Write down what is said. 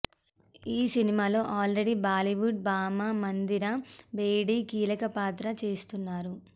ఈ సినిమాలో already Bollywood భామ మందిరా బేడీ కీలక పాత్ర చేస్తున్నారు